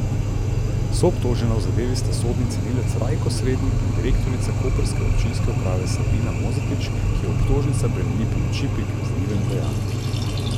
Soobtožena v zadevi sta sodni cenilec Rajko Srednik in direktorica koprske občinske uprave Sabina Mozetič, ki ju obtožnica bremeni pomoči pri kaznivem dejanju.